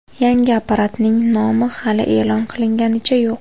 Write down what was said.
Yangi apparatning nomi hali e’lon qilinganicha yo‘q.